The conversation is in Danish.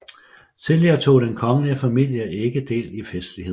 Tidligere tog den kongelige familie ikke del i festlighederne